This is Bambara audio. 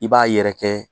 I b'a yɛrɛkɛ